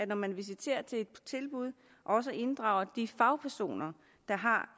når man visiterer til et tilbud også inddrager de fagpersoner der har